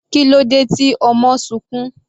Kílódé tí ọmọ sunkún?